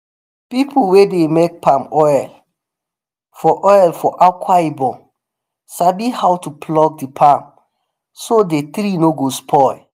people wey dey make palm oil for oil for akwa ibom sabi how to pluck the palm so dey tree no go spoil.